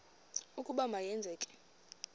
ukuba ma yenzeke